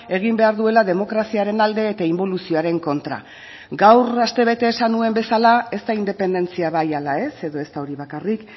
egin behar duela demokraziaren alde eta inboluzioaren kontra gaur astebete esan nuen bezala ez da independentzia bai ala ez edo ez da hori bakarrik